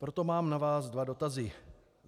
Proto mám na vás dva dotazy.